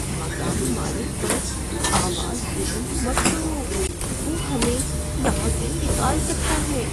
مکان مالک پر آواز بلند مت کرو۔ وہ ہمیں یہاں سے نکال سکتا ہے۔